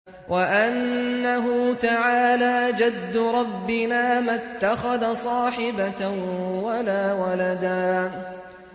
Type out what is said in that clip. وَأَنَّهُ تَعَالَىٰ جَدُّ رَبِّنَا مَا اتَّخَذَ صَاحِبَةً وَلَا وَلَدًا